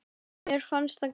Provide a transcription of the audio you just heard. Mér fannst það gaman.